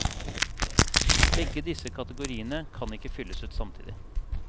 Begge disse kategoriene kan ikke fylles ut samtidig.